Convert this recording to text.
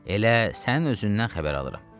Elə sənin özündən xəbər alıram.